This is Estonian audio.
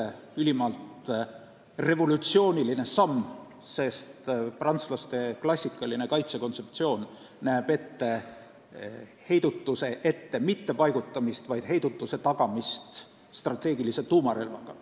See on ülimalt revolutsiooniline samm, sest prantslaste klassikaline kaitsekontseptsioon ei näe ette heidutuse ettepaigutamist, vaid heidutuse tagamist strateegilise tuumarelvaga,